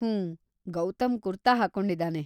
ಹೂಂ, Gautam kurta ಹಾಕ್ಕೊಂಡಿದಾನೆ.